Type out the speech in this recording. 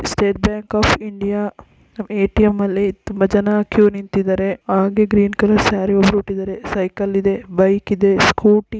state bank of India ATM ಅಲ್ಲಿ ತುಂಬ ಜನ ಕ್ಯೂ ನಿಂತಿದೆರೇ ಆಗೇ ಗ್ರೀನ್ ಕಲರ್ ಸರಿ ಉತ್ತಿದರೆ ಸೈಕಲ್ ಇದೆ ಬೈಕ್ ಇದೆ ಸ್ಕೂಟಿ --